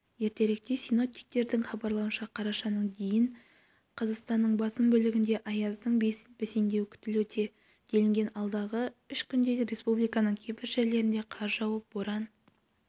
ертеректе синоптиктердің хабарлауынша қарашаның дейін қазақстанның басым бөлігінде аяздың бәсеңдеуі күтілуде делінген алдағы үш күнде республиканың кейбір жерлерінде қар жауып боран